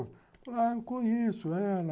Ah, eu conheço ela.